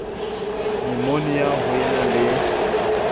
nyumonia ho e na le